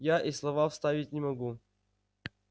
я и слова вставить не могу